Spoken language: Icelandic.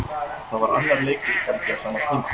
Það var annar leikur í gangi á sama tíma.